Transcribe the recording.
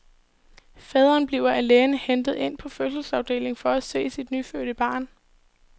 Faderen bliver af lægen hentet ind på fødselsafdelingen for at se sit nyfødte barn.